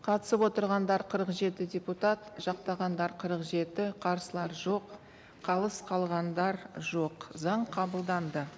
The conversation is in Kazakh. қатысып отырғандар қырық жеті депутат жақтағандар қырық жеті қарсылар жоқ қалыс қалғандар жоқ заң қабылданды